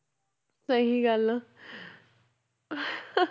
ਸਹੀ ਗੱਲ